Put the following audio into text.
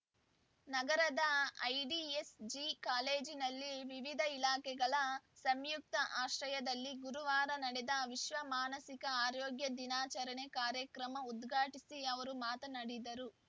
ನಗರದ ಐಡಿಎಸ್‌ಜಿ ಕಾಲೇಜಿನಲ್ಲಿ ವಿವಿಧ ಇಲಾಖೆಗಳ ಸಂಯುಕ್ತ ಆಶ್ರಯದಲ್ಲಿ ಗುರುವಾರ ನಡೆದ ವಿಶ್ವ ಮಾನಸಿಕ ಆರೋಗ್ಯ ದಿನಾಚರಣೆ ಕಾರ್ಯಕ್ರಮ ಉದ್ಘಾಟಿಸಿ ಅವರು ಮಾತನಾಡಿದರು